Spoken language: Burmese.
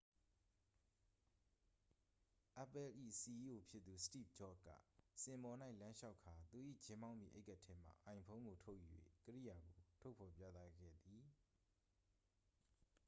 apple ၏ စီအီးအို ဖြစ်သူ စတိဗ်ဂျော့က စင်ပေါ်၌ လမ်းလျှောက်ကာ သူ၏ ဂျင်းဘောင်းဘီအိတ်ကပ်ထဲမှ အိုင်ဖုန်း ကို ထုတ်ယူ၍ ကိရိယာကို ထုတ်ဖော်ပြသခဲ့သည်